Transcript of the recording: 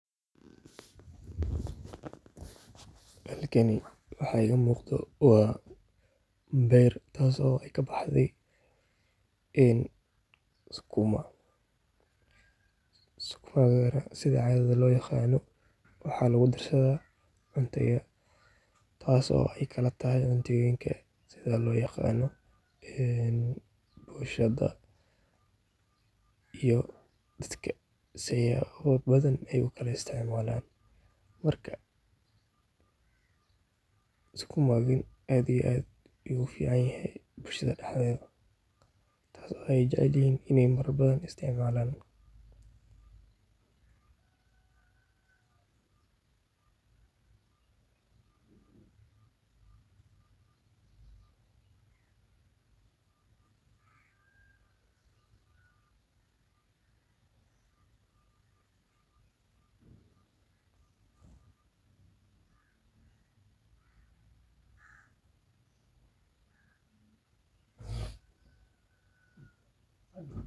halkan waxaaa iga muqdho wa beer taas oo aay ka baxday sukuma .sukumakana sidha cadii lo yaqano waxaa lugu darsadha cunadha taas oo kala tahay cunoyinka sidha lo yaqano bunshada iyo datka sii kala badan u kala isticmalaan marka sukumaga aat iyo aat ayuu u ficanyahy bulshada daxdhoda taas oo jecelyihiin in marwalbo aay isticmalaaan marka.....